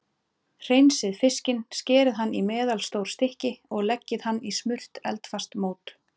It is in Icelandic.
Hreinsið fiskinn, skerið hann í meðalstór stykki og leggið þau í smurt eldfast mót.